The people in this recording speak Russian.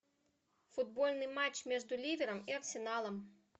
футбольный матч между ливером и арсеналом